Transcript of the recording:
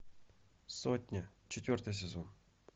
сотня четвертый сезон